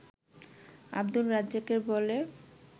আব্দুর রাজ্জাকের বলে